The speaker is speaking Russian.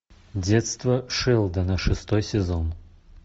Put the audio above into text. детство шелдона шестой сезон